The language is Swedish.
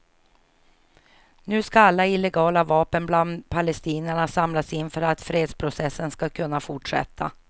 Nu ska alla illegala vapen bland palestinierna samlas in för att fredsprocessen ska kunna fortsätta.